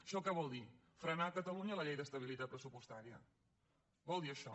això què vol dir frenar a catalunya la llei d’estabilitat pressupostària vol dir això